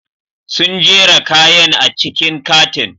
Sun jera kayan a cikin katin.